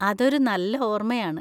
അതൊരു നല്ല ഓര്‍മ്മയാണ്.